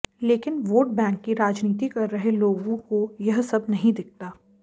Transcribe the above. लेकिन vote bank की राजनीति कर रहे लोगों को ये सब नहीं दिखता